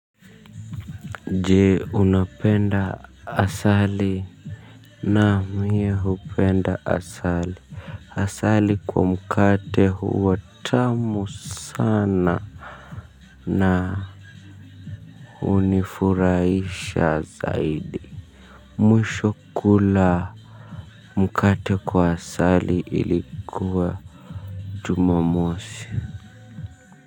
Je, unapenda asali, na mi hupenda asali. Asali kwa mkate huwa tamu sana. Na hunifurahisha zaidi. Mwisho kula mkate kwa asali ilikuwa jumamosi.